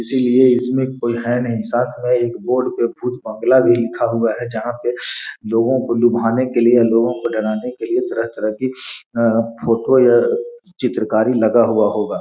इसीलिए इसमें कोई है नहीं सामने एक बोर्ड पे भूत बांग्ला भी लिखा हुआ है जहां पे लोगो को लुभाने के लिए लोगो को डराने के लिए तरह तरह की अअअ फोटो या चित्रकारी लगा हुआ होगा।